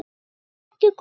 Er þetta ekki gott?